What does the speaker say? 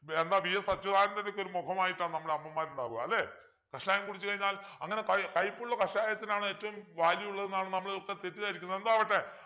എന്താ VS അച്യുദാനന്തൻ്റെ ഒക്കെ മുഖമായിട്ടാ നമ്മളെ അമ്മമാരുണ്ടാവുക അല്ലെ കഷായം കുടിച്ചു കഴിഞ്ഞാൽ അങ്ങനെ കയ് കയ്പ്പുള്ള കഷായതിനാണ് ഏറ്റവും value ഉള്ളത് എന്നാണ് നമ്മൾ ഒക്കെ തെറ്റുധരിക്കുന്നത് എന്തോ ആവട്ടെ